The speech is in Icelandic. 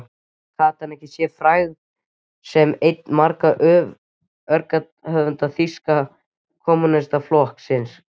Gat hann sér frægð sem einn margra öreigarithöfunda Þýska kommúnistaflokksins.